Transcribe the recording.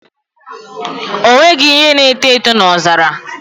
O nweghị ihe na-eto eto n'ọzara